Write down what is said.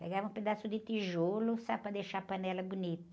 Pegava um pedaço de tijolo só para deixar a panela bonita.